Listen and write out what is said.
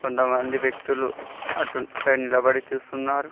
కొంతమంది వ్యక్తులు అటుసైడ్ నిలబడి చూస్తున్నారు.